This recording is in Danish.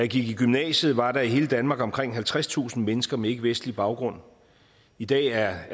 gik i gymnasiet var der i hele danmark omkring halvtredstusind mennesker med ikkevestlig baggrund i dag er